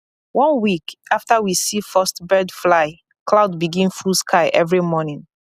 one week after we see first bird fly cloud begin full sky every morning